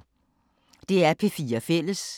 DR P4 Fælles